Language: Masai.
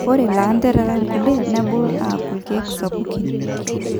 Ore lanterera kulie nebulu aakuu irkek sapukin